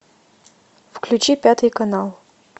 включи пятый канал